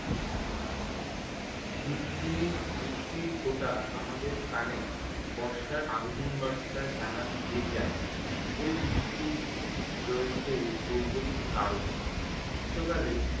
ঝিরঝিরি বৃষ্টির ফোঁটা আমাদের কানে বর্ষার আগমন বার্তা জানান দিয়ে যায়। এই বৃষ্টির রয়েছে ভৌগোলিক কারণ। গ্রীষ্মকালে